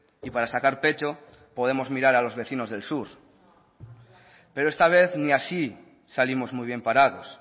y para sacar pecho podemos mirar a los vecinos del sur pero esta vez ni así salimos muy bien parados